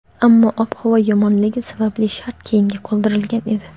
ammo ob-havo yomonligi sababli start keyinga qoldirilgan edi.